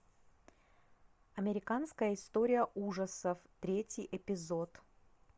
американская история ужасов третий эпизод